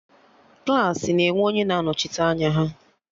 Klassị na enwe onye na-anọchite anya ha